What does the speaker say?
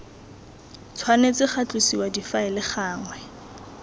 tshwanetse ga tlosiwa difaele gangwe